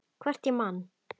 Hvort ég man.